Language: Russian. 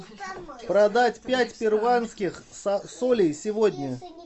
продать пять перуанских солей сегодня